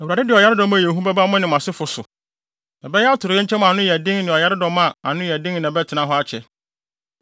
Awurade de ɔyaredɔm a ɛyɛ hu bɛba mo ne mo asefo. Ɛbɛyɛ atoyerɛnkyɛm a ano yɛ den ne ɔyaredɔm a ano yɛ den na ɛbɛtena hɔ akyɛ.